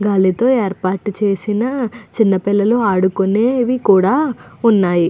గాలి తో ఏర్పాటు చేసిన చిన్న పిల్లలు ఆడుకునేవి కూడా ఉన్నాయి.